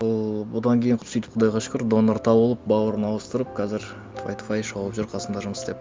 ол бұдан кейін сөйтіп құдайға шүкір донор табылып бауырын ауыстырып қазір тфай тфай шауып жүр қасымда жұмыс істеп